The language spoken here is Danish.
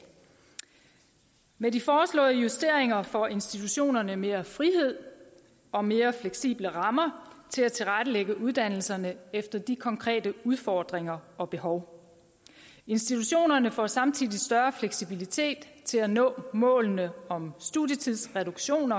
med de foreslåede justeringer får institutionerne mere frihed og mere fleksible rammer til at tilrettelægge uddannelserne efter de konkrete udfordringer og behov institutionerne får samtidig større fleksibilitet til at nå målene om studietidsreduktion